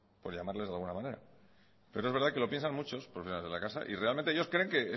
por llamarles de alguna manera pero es verdad que lo piensan muchos profesionales de la casa y realmente ellos creen que